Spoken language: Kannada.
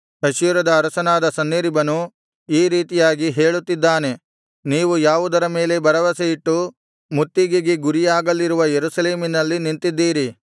ಅಶ್ಶೂರದ ಅರಸನಾದ ಸನ್ಹೇರೀಬನು ಈ ರೀತಿಯಾಗಿ ಹೇಳುತ್ತಿದ್ದಾನೆ ನೀವು ಯಾವುದರ ಮೇಲೆ ಭರವಸೆಯಿಟ್ಟು ಮುತ್ತಿಗೆಗೆ ಗುರಿಯಾಗಲಿರುವ ಯೆರೂಸಲೇಮಿನಲ್ಲಿ ನಿಂತಿದ್ದೀರಿ